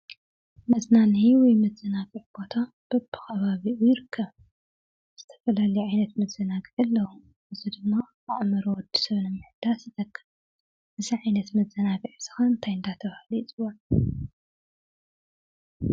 መዝናነዪ ወይ መዛነግዒ ቦታ በቢ ኸባቢኡ ይርከብ። ዝተፈላለዩ ዓይነት መዘናግዒ ኣለዉ። እዚ ድማ ኣእምሮ ወዲ ሰብ ንምሕዳስ ይጠቅም። እዚ ዓይነት መዘናግዒ እዚ ኸ እንታይ ዳ ተብሃለ ይፅዋዕ?